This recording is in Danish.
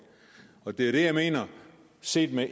og det er jo det jeg mener set med